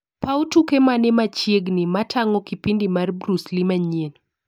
Paw tuke mane machiegni matang'o kipindi mar bruce lee manyien?